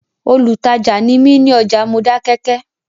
Olùtajà ni mí ní ọjà Modákẹ́kẹ́